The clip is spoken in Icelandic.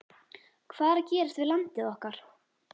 Hvað er að gerast við landið okkar?